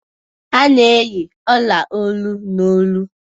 A n'eyi ọla olu, n'olu